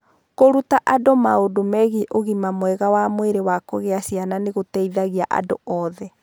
Kũruta andũ maũndũ megiĩ ũgima mwega wa mwĩrĩ wa kũgĩa ciana nĩ gũteithagia andũ othe.